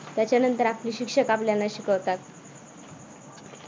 त्याच्यानंतर आपले शिक्षक आपल्याला शिकवतात.